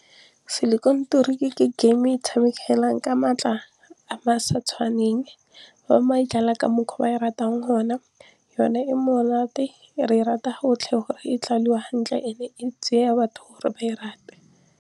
ke game e tshamekelang ka maatla a sa tshwaneng fa ka mokgwa ba e ratang hona e monate re e rata gotlhe gore e hantle e tseya batho gore ba e rate.